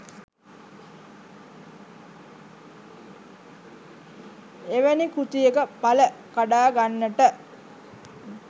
එවැනි කෘතියක පල කඩාගන්නට